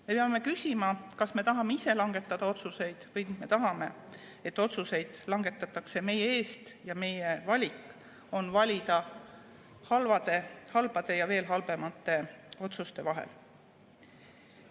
Me peame küsima, kas me tahame ise langetada otsuseid või me tahame, et otsuseid langetatakse meie eest ja meie valik on valida halbade ja veel halvemate otsuste vahel.